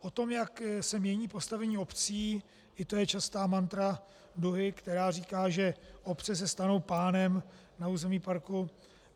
O tom, jak se mění postavení obcí, i to je častá mantra Duhy, která říká, že obce se stanou pánem na území parku.